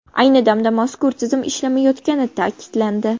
Ayni damda mazkur tizim ishlamayotgani ta’kidlandi.